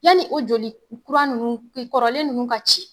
Yanni o joli kuran nunnu e kɔrɔlen nunnu ka ci